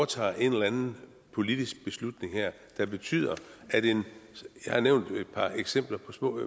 træffer en eller anden politisk beslutning her der betyder jeg har nævnt et par eksempler